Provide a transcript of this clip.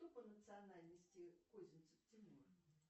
кто по национальности козинцев тимур